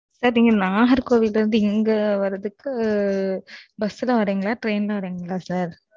sir நீங்க நாகர்கோவில்ல இருந்து, இங்க வர்றதுக்கு, bus ல வர்றீங்களா? train ல வர்றீங்களா, sir